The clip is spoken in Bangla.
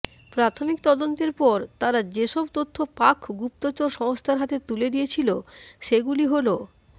প্রাথমিক তদন্তের পর তারা যেসব তথ্য পাক গুপ্তচর সংস্থার হাতে তুলে দিয়েছিল সেগুলি হলঃ